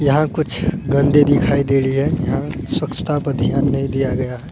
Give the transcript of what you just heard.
यहाँ कुछ गंदे दिखाई दे रही है यहाँ स्वच्छता पे ध्यान नहीं दिया गया है।